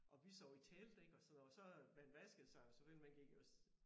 Og vi sov i telt ik og så så øh man vaskede sig jo selvfølgelig man gik jo også